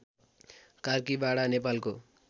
कार्कीबाडा नेपालको